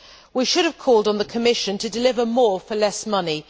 We should have called on the Commission to deliver more for less money.